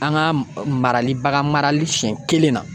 An ka marali bagan marali siɲɛ kelenna